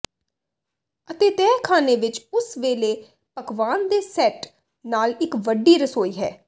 ਅਤੇ ਤਹਿਖ਼ਾਨੇ ਵਿਚ ਉਸ ਵੇਲੇ ਪਕਵਾਨ ਦੇ ਸੈੱਟ ਨਾਲ ਇੱਕ ਵੱਡੀ ਰਸੋਈ ਹੈ